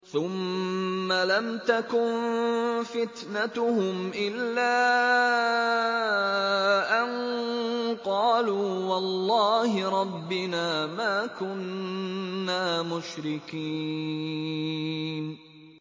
ثُمَّ لَمْ تَكُن فِتْنَتُهُمْ إِلَّا أَن قَالُوا وَاللَّهِ رَبِّنَا مَا كُنَّا مُشْرِكِينَ